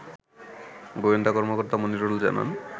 গোয়েন্দা কর্মকর্তা মনিরুল জানান